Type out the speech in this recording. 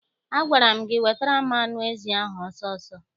Agwara m gị wetara m anụ ezi ahụ ọsọ ọsọ!